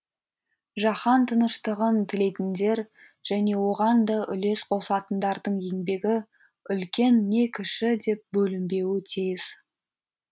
жаһан тыныштығын тілейтіндер және оған да үлес қосатындардың еңбегі үлкен не кіші деп бөлінбеуі тиіс